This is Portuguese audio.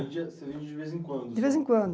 Vende de vez em quando? De vez em quando